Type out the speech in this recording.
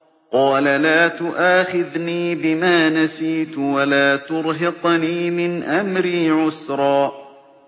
قَالَ لَا تُؤَاخِذْنِي بِمَا نَسِيتُ وَلَا تُرْهِقْنِي مِنْ أَمْرِي عُسْرًا